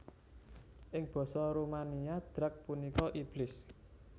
Ing basa Rumania Drac punika iblis